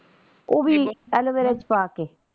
ਉਹ ਵੀ aloe vera ਚ ਪਾ ਕੇ।